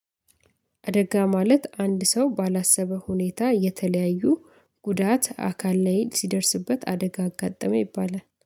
አደጋ ማለት አንድ ሰው ባላሰበው ሁኔታ የተለያዩ ጉዳት አካል ላይ ሲደርስበት አደጋ አጋጠመው ይባላል።